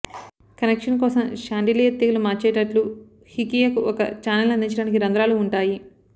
connection కోసం chandelier తీగలు మార్చేటట్లు హికియకు ఒక ఛానెల్ అందించడానికి రంధ్రాలు ఉంటాయి